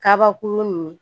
Kabakurun nin